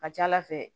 Ka ca ala fɛ